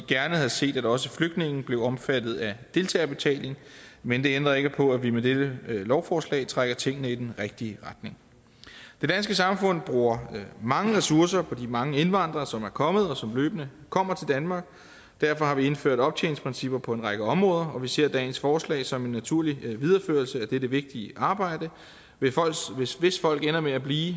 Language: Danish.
gerne havde set at også flygtninge blev omfattet af deltagerbetaling men det ændrer ikke på at vi med dette lovforslag trækker tingene i den rigtige retning det danske samfund bruger mange ressourcer på de mange indvandrere som er kommet og som løbende kommer til danmark og derfor har vi indført optjeningsprincipper på en række områder og vi ser dagens forslag som en naturlig videreførelse af dette vigtige arbejde hvis folk ender med at blive